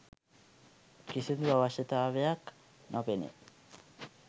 කිසිදු අවශ්‍යතාවයක් නොපෙනේ.